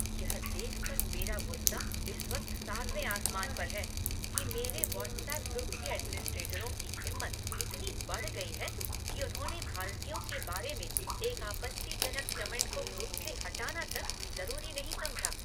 यह देखकर मेरा गुस्सा इस वक्त सातवें आसमान पर है कि मेरे वॉट्सएप ग्रुप के एडमिनिस्ट्रेटरों की हिम्मत इतनी बढ़ गई है कि उन्होंने भारतीयों के बारे में एक आपत्तिजनक कमेंट को ग्रुप से हटाना तक ज़रूरी नहीं समझा।